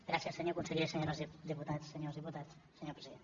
gràcies senyor conseller senyores diputades senyors diputats senyor president